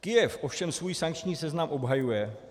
Kyjev ovšem svůj sankční seznam obhajuje.